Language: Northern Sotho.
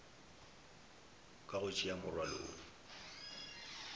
ka go tšea morwalo wo